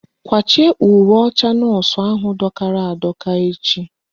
Kwachie uwe ọcha nọọsụ ahụ dọkara adọka echi!